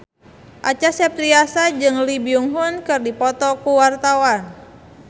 Acha Septriasa jeung Lee Byung Hun keur dipoto ku wartawan